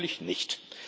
Natürlich nicht.